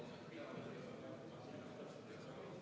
Okei, asi selge.